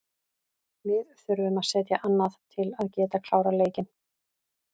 Við þurfum að setja annað til að geta klárað leikinn.